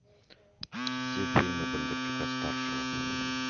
все фильмы бондарчука старшего